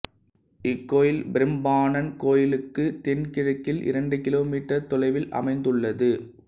இக்கோயில் பிரம்பானான் கோயிலுக்கு தென்கிழக்கில் இரண்டு கிலோமீட்டர் தொலைவில் அமைந்துள்ளது